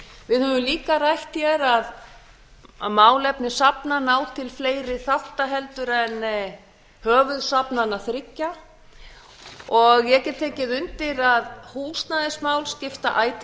höfum líka rætt að málefni safna ná til fleiri þátta heldur en höfuðsafnanna þriggja og ég get tekið undir að húsnæðismál skipta ætíð